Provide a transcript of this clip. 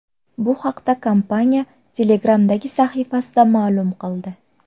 Bu haqda kompaniya Telegram’dagi sahifasida ma’lum qildi .